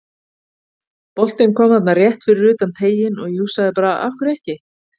Boltinn kom þarna rétt fyrir utan teiginn og ég hugsaði bara af hverju ekki?